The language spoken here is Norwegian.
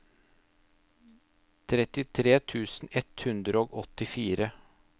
trettitre tusen ett hundre og åttifire